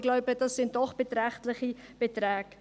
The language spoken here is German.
Ich glaube, dies sind doch beträchtliche Beträge.